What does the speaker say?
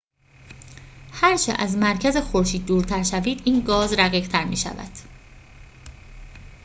هرچه از مرکز خورشید دورتر شوید این گاز رقیق‌تر می‌شود